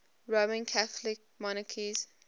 roman catholic monarchs